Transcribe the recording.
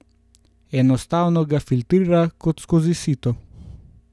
Enostavno ga filtrira kot skozi sito.